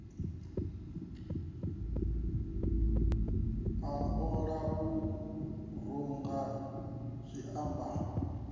u ola u runga zwiambaro